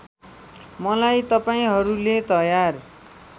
मलाई तपाईँहरूले तयार